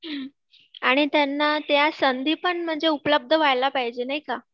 हं आणि त्यांना त्या संधी पण उपलब्ध व्हायला पाहिजे नाही का?